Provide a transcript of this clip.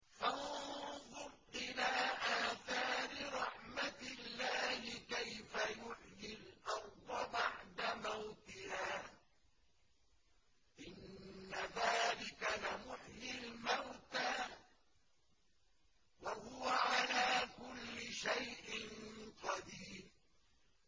فَانظُرْ إِلَىٰ آثَارِ رَحْمَتِ اللَّهِ كَيْفَ يُحْيِي الْأَرْضَ بَعْدَ مَوْتِهَا ۚ إِنَّ ذَٰلِكَ لَمُحْيِي الْمَوْتَىٰ ۖ وَهُوَ عَلَىٰ كُلِّ شَيْءٍ قَدِيرٌ